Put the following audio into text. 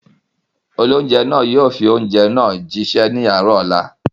Olóunjẹ́ náà yóò fi oúnjẹ náà jí ṣẹ́ ní àárọ̀ ọ̀la